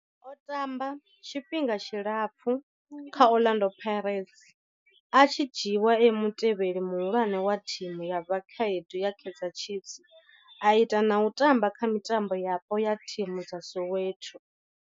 O tamba tshifhinga tshilapfhu kha Orlando Pirates, a tshi dzhiiwa e mutevheli muhulwane wa thimu ya vhakhaedu ya Kaizer Chiefs, a ita na u tamba kha mitambo yapo ya thimu dza Soweto.